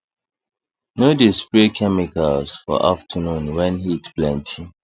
no dey spray chemicals for afternoon wen heat plenty